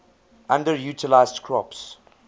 underutilized crops